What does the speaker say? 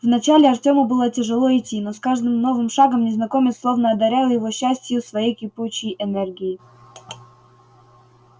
вначале артёму было тяжело идти но с каждым новым шагом незнакомец словно одарял его частью своей кипучей энергии